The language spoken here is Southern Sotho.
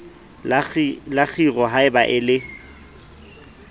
la kgiro haeba o le